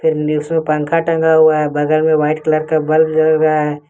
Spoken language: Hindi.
पंखा टंगा हुआ है बगल में व्हाइट कलर का बल्ब जल रहा है।